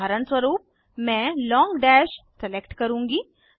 उदाहरण स्वरुप मैं लॉंग डैश सलेक्ट करुँगी